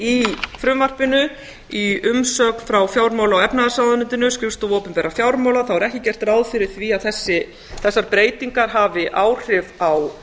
í frumvarpinu í umsögn frá fjármála og efnahagsráðuneytinu skrifstofu opinberra fjármála þá er ekki gert ráð fyrir því að þessar breytingar hafi áhrif á